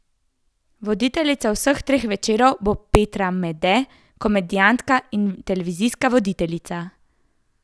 Voditeljica vseh treh večerov bo Petra Mede, komedijantka in televizijska voditeljica.